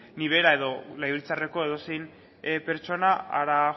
ni bera edo legebiltzarreko edozein pertsona hara